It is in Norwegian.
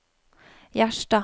Gjerstad